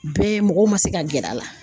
Bɛɛ mɔgɔw man se ka gɛrɛ a la.